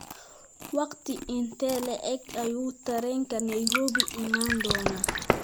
Waqti intee le'eg ayuu tareenka Nairobi imaan doonaa?